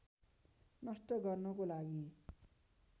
नष्ट गर्नको लागि